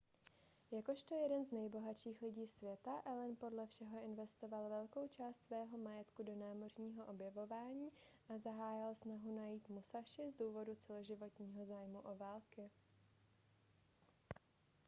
jakožto jeden z nejbohatších lidí světa allen podle všeho investoval velkou část svého majetku do námořního objevování a zahájil snahu najít musashi z důvodu celoživotního zájmu o války